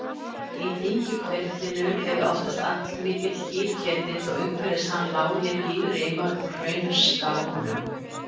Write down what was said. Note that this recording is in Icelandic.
Í dyngjuhvirflinum er oftast allmikill gígketill og umhverfis hann lágir gígrimar úr hraunskánum.